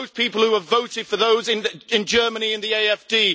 Those people who have voted for those in Germany in the AfD